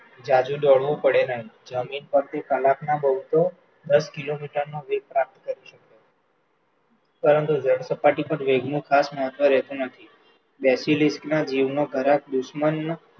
ઝાઝું દોડવું પડે નહિ, જમીન પર ભી કલાકના બોવ તો દસ કિલોમીટરનું સળંગ સપાટી પર વેગનું ખાસ મહત્વ રહેતું નથી, ના જીવનો ઘણા દુશ્મનના